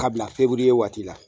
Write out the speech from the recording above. K'a bila feburuye waati la